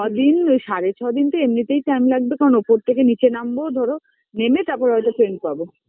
ছয়দিন সাড়ে ছয়দিন তো এমনিতেই time লাগবে কারণ ওপর থেকে নিচে নামবো ধরো নেমে তারপরে হয়তো train পাব